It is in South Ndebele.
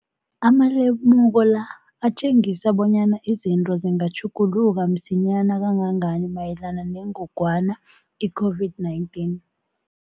Amalemuko la atjengisa bonyana izinto zingatjhuguluka msinyana kangangani mayelana nengogwana i-COVID-19.